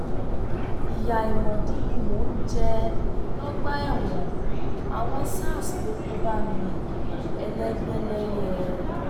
ìyá àìmọdí ni mò ń jẹ lọgbà ẹwọn àwọn sars ló kó bá mi elégbẹlẹyẹ